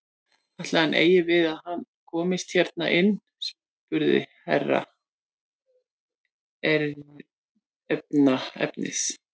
Ætli hann eigi við það að hann komist hérna inn spurði Herra Ezana efins.